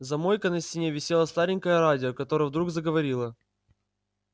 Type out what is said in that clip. за мойкой на стене висело старенькое радио которое вдруг заговорило